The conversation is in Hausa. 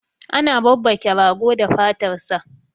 ana babbake rago da fatar sa